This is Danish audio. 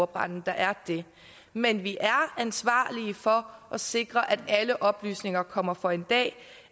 branden der er det men vi er ansvarlige for at sikre at alle oplysninger kommer for en dag